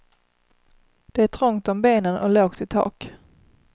Det är trångt om benen och lågt i tak.